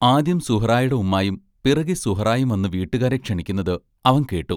ആദ്യം സുഹ്റായുടെ ഉമ്മായും പിറകേ സുഹ്റായും വന്നു വീട്ടുകാരെ ക്ഷണിക്കുന്നത് അവൻ കേട്ടു.